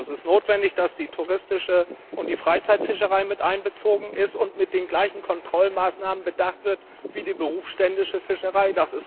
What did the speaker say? Es ist notwendig, dass die touristische und die Freizeitfischerei mit einbezogen und mit den gleichen Kontrollmaßnahmen bedacht werden wie die berufsständische Fischerei.